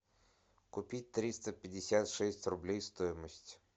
купить триста пятьдесят шесть рублей стоимость